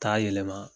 Taa yɛlɛma